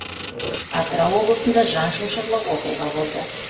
атырау облысында жан шошырлық оқиға болды